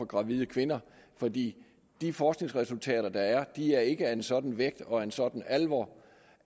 gravide kvinder for de forskningsresultater der er er ikke af en sådan vægt og af en sådan alvor